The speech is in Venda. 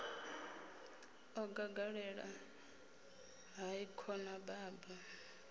o gagaḓela hai khona baba